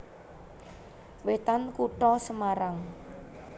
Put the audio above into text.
Wetan Kutha Semarang